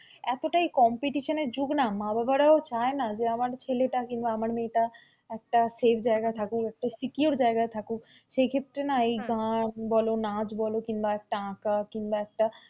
এতটা competition এর যুগ না মা-বাবারাও চায় না যে আমার ছেলেটা কিংবা আমার মেয়েটা একটা safe জায়গায় থাকুক একটা secure জায়গায় থাকুক সেই ক্ষেত্রে না এই গান বোলো নাচ বোলো কিংবা একটা আঁকা কিংবা একটা,